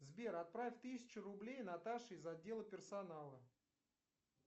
сбер отправь тысячу рублей наташе из отдела персонала